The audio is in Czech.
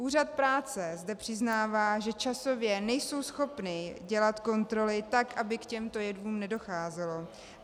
Úřad práce zde přiznává, že časově nejsou schopni dělat kontroly tak, aby k těmto jevům nedocházelo.